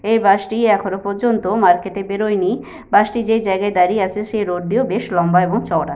এ bus -টি এখনো পর্যন্ত মার্কেট -এ বেরোয় নি। বাস -টি যে জায়গায় দাঁড়িয়ে আছে সেই রোড -টিও বেশ লম্বা এবং চওড়া।